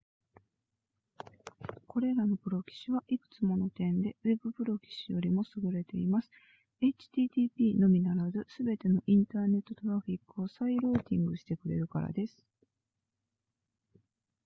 これらのプロキシはいくつもの点でウェブプロキシよりも優れています http のみならずすべてのインターネットトラフィックを再ルーティングしてくれるからです